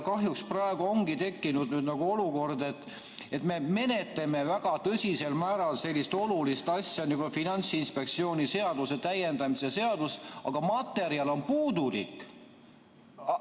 Kahjuks praegu ongi tekkinud olukord, et me menetleme väga tõsiselt sellist olulist asja nagu Finantsinspektsiooni seaduse täiendamise seadust, aga materjal on puudulik.